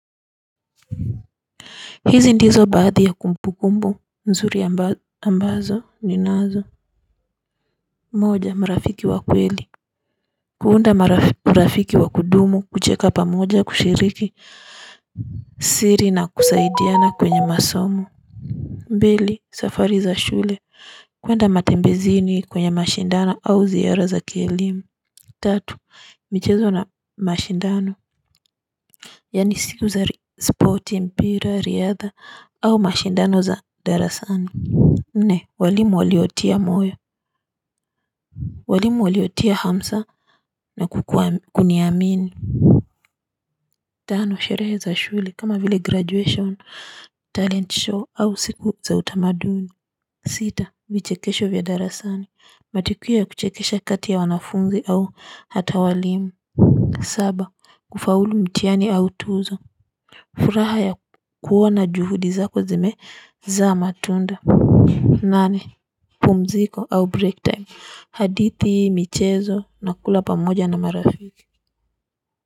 Hizi ndizo baadhi ya kumbukumbu mzuri ambazo ni-nazo moja mrafiki wa kweli kuunda mrafiki wa kudumu kucheka pamoja kushiriki siri na kusaidiana kwenye masomo mbili safari za shule kwenda matembezini kwenye mashindano au ziara za kelimu tatu michezo na mashindano yani siku za sporti mpira riadha au mashindano za darasani. Nne walimu waliotia moyo. Walimu waliotia hamsa na kukuniamini. Tano sherehe za shule kama vile graduation talent show au siku za utamaduni. Sita vichekesho vya darasani matikio ya kuchekesha kati ya wanafungi au hata walimu. Saba kufaulu mtiani au tuzo. Furaha ya kuwana juhudi zako zimezaa matunda. Nane, pumziko au break time hadithi, michezo, nakula pamoja na marafiki.